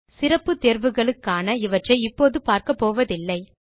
சிறப்பு தேர்வுகளுக்கான இவற்றை இப்போது பார்க்கப் போவதில்லை